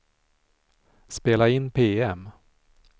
spela in PM